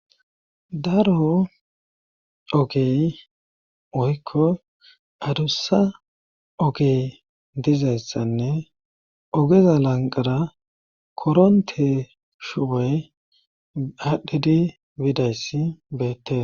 daro ogey oykko adussa ogey dizayssanne ogeza lanqara koronte shuwoy aadhdhidi bidayssi beette